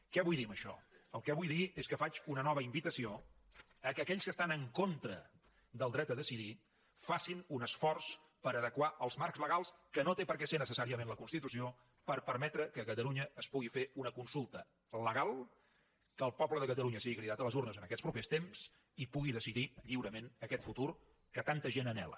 què vull dir amb això el que vull dir és que faig una nova invitació que aquells que estan en contra del dret a decidir facin un esforç per adequar els marcs legals que no té per què ser necessàriament la constitució per permetre que a catalunya es pugui fer una consulta legal que el poble de catalunya sigui cridat a les urnes en aquests propers temps i pugui decidir lliurement aquest futur que tanta gent anhela